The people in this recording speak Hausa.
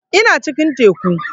Ina cikin teku